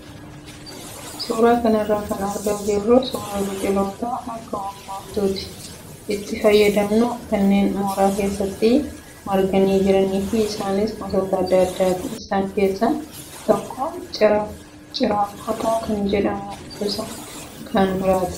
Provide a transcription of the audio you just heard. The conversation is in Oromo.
Suuraa kanarraa kan argaa jirru suuraa biqiloota akka urgooftuutti itti fayyadamnu kanneen mooraa keessatti marganii jiranii fi isaanis gosoot adda addaati. Isaan keessaa tokko ciraakkota kaan immoo gosa kan biraati.